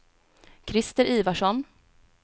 Christer Ivarsson